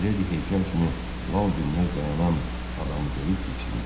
Miledi heykəl kimi lal dinməz dayanan adamı görüb diksindi.